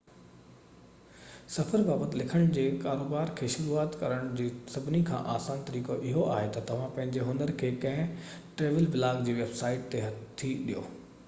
سفر بابت لکڻ جي ڪاروبار کي شروعات ڪرڻ جو سڀني کان آسان طريقو اهو آهي تہ توهان پنهنجي هنر کي ڪنهن ٽريول بلاگ جي ويب سائيٽ تي هٿي ڏيو